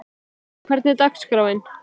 Nói, hvernig er dagskráin?